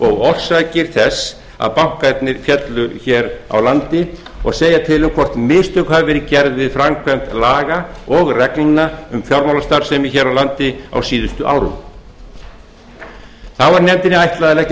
og orsakir þess að bankarnir féllu hér á landi og segja til um hvort mistök hafi verið gerð við framkvæmd laga og reglna um fjármálastarfsemi hér á landi á síðustu árum þá er nefndinni ætlað að leggja